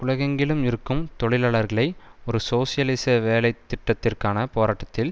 உலகெங்கிலும் இருக்கும் தொழிலாளர்களை ஒரு சோசியலிச வேலை திட்டத்திற்கான போராட்டத்தில்